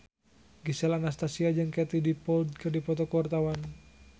Gisel Anastasia jeung Katie Dippold keur dipoto ku wartawan